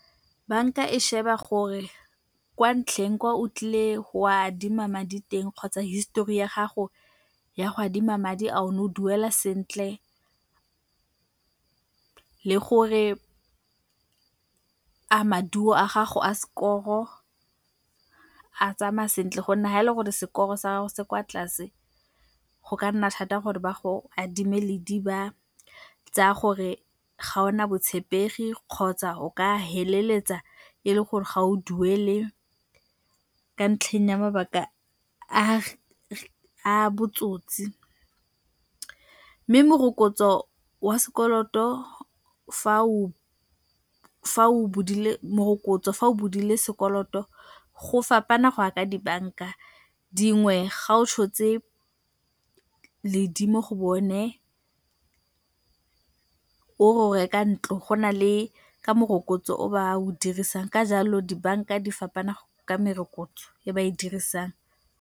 Banka e sheba gore kwa ntlheng kwa o tlile go adima madi teng kgotsa histori ya gago ya go adima madi a o ne o duela sentle le gore a maduo a gago a skoro, a tsamaya sentle go nna ha e le gore sekoro sa gago se kwa tlase, go ka nna thata gore ba go adime ledi, ba tsaya gore ga ona botshepegi kgotsa o ka feleletsa e le gore ga o duele ka ntlheng ya mabaka a botsotsi, mme morokotso wa sekoloto fa o bodile morokotso, fa o bodile sekoloto go fapana go a ka dibanka. Dingwe ga o tshotse ledi mo go bone o re o reka ntlo, go na le ka morokotso o ba o dirisang, ka jalo dibanka di fapana ka merokotso e ba e dirisang.